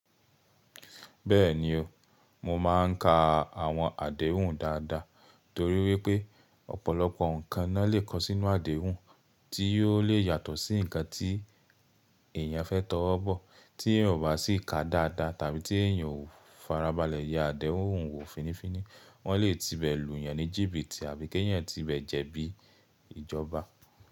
Bẹ́ẹ̀ni o, mo máa ń ka àwọn àdéhùn dáadáa, torí wipé ọ̀pọ̀lọpọ̀ nǹkan na lè kọ sínú àdéhùn tí yóò lè yàtọ̀ sí nǹkan tí èèyàn fẹ́ tọwọ́ bọ̀, tí èèyàn o bá sì ká a dáadáa tàbí tí èèyàn ò farabalẹ̀ ye àdéhùn wò fínifíni, wọ́n lè ti bẹ̀ lù yàn ní jíbìtì àbí kí èèyàn ti ibẹ̀ jẹ bí ìjọba.